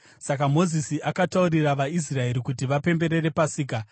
Saka Mozisi akataurira vaIsraeri kuti vapemberere Pasika,